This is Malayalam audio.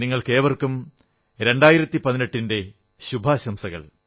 നിങ്ങൾക്കേവർക്കും 2018 ന്റെ ശുഭാശംസകൾ